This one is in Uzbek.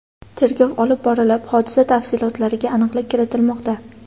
Tergov olib borilib, hodisa tafsilotlariga aniqlik kiritilmoqda.